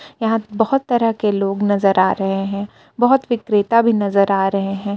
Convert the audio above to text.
यहां बहुत तरह के लोग नजर आ रहे हैं बहुत विक्रेता भी नजर आ रहे हैं।